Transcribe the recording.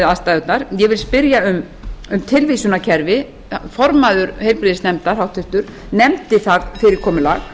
aðstæðurnar ég vil spyrja um tilvísunarkerfi háttvirtur formaður heilbrigðisnefndar nefndi það fyrirkomulag